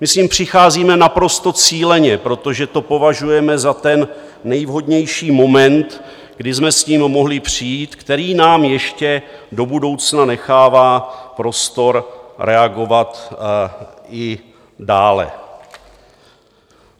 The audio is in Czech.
My s ním přicházíme naprosto cíleně, protože to považujeme za ten nejvhodnější moment, kdy jsme s tím mohli přijít, který nám ještě do budoucna nechává prostor reagovat i dále.